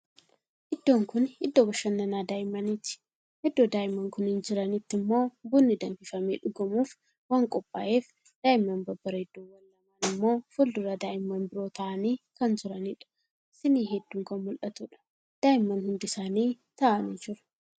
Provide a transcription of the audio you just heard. Iddoon kuni iddoo bashananaa daa'immaniiti. Iddo daa'imman kunniin jiranitti immoo bunni danfifamee dhugamuuf waan qophaa'ef daa'imman babbareedduwwan lamaan immoo fuuldura daa'imman biroo taa'anii kan jiraniidha. Siinii hedduun kan mul'atuudha. Daa'imman hundi isaanii taa'anii jiru.